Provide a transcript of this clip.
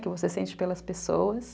Que você sente pelas pessoas.